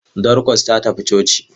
Dorcas ta tafi coci?